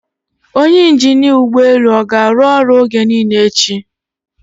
Onye injinia ụgbọ elu ọ ga-arụ ọrụ oge niile echi?